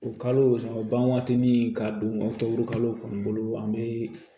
O kalo ban waati ni k'a don tɔkuru kalo kɔni bolo an bɛ